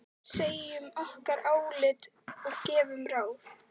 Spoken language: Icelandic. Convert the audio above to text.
Segjum okkar álit og gefum ráð.